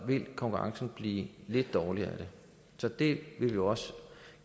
vil konkurrencen blive lidt dårligere af det så det vil vi også